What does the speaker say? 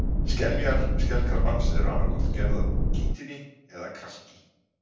Skeljar skelkrabbans eru annaðhvort gerðar úr kítíni eða kalki.